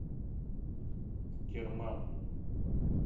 керман